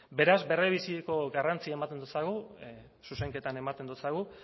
beraz berebiziko garrantzia ematen doutsagu zuzenketan ematen doutsagu